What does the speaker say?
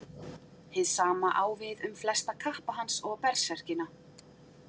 Hið sama á við um flesta kappa hans og berserkina.